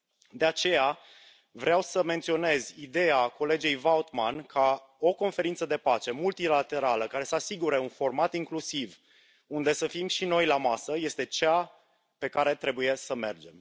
De aceea, vreau să menționez ideea colegei Vautmans, potrivit căreia o conferință de pace multilaterală, care să asigure un format incluziv, unde să fim și noi la masă, este direcția în care trebuie să mergem.